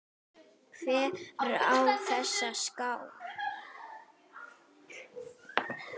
Hver á þessa skál?